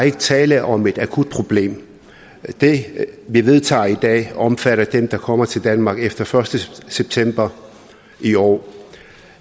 ikke tale om et akut problem det vi vedtager i dag omfatter dem der kommer til danmark efter den første september i år